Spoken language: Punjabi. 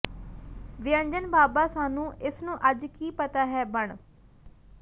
ਵਿਅੰਜਨ ਬਾਬਾ ਸਾਨੂੰ ਇਸ ਨੂੰ ਅੱਜ ਕੀ ਪਤਾ ਹੈ ਬਣ